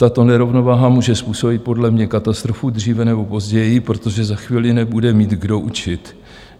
Tato nerovnováha může způsobit podle mě katastrofu dříve nebo později, protože za chvíli nebude mít kdo učit.